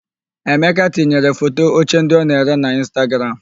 Emeka tinyere foto oche ndị ọ na-ere na Ịnstagram.